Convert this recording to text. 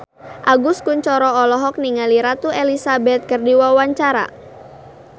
Agus Kuncoro olohok ningali Ratu Elizabeth keur diwawancara